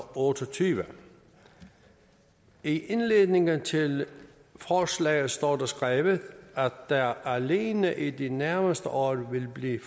otte og tyve i indledningen til forslaget står der skrevet at der alene i de nærmeste år vil blive